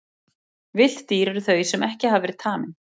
Villt dýr eru þau sem ekki hafa verið tamin.